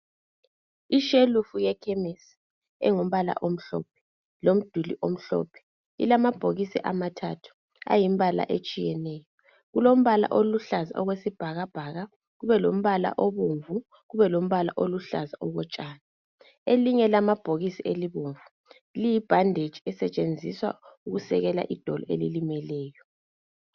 Ishelufu yekhemisi engumbala omhlophe lomduli omhlophe lilamabhokisi amathathu ayimbala etshiyeneyo kulombala oluhlaza okwesibhakabhaka kube lombala obomvu kube lombala oluhlaza okotshani elinye lamabhokisi abomvu liyibhandetshi esetshenziswa ukusekela idolo elilimeleyo